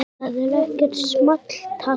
Það er ekkert small talk.